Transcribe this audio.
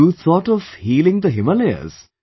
You thought of healing the Himalayas